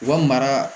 U ka mara